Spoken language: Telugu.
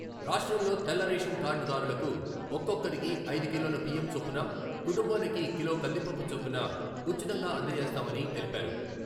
రాష్ట్రంలో తెల్ల రేషన్ కార్డుదారులకు ఒక్కొక్కరికి ఐదు కిలోల బియ్యం చొప్పున, కుటుంబానికి కిలో కందిపప్పు చొప్పున ఉచితంగా అందజేస్తామని తెలిపారు.